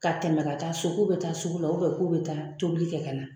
Ka tɛmɛ ka taa so k'u bɛ taa sugu la k'u bɛ taa tobili kɛ ka na